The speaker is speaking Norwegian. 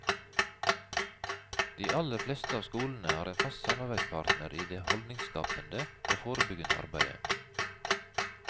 De aller fleste av skolene har en fast samarbeidspartner i det holdningsskapende og forebyggende arbeidet.